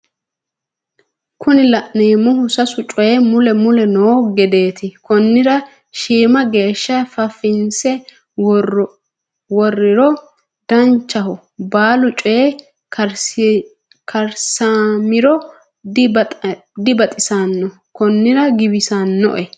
Kuni la'neemmohu sasu coye mule mule noo gedeeti konnira shiima geeshsha fafinse worriro danchaho baalu coye karssamiro dibaxissanno konnira giwissi'noe